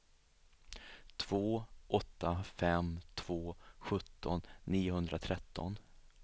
två åtta fem två sjutton niohundratretton